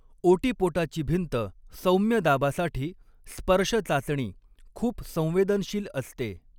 ओटीपोटाची भिंत सौम्य दाबासाठी स्पर्श चाचणी खूप संवेदनशील असते.